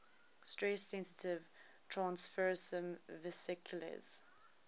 stress sensitive transfersome vesicles